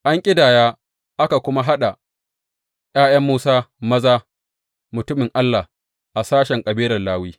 An ƙidaya aka kuma haɗa ’ya’yan Musa maza mutumin Allah a sashen kabilar Lawi.